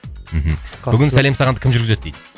мхм бүгін сәлем сағанды кім жүргізеді дейді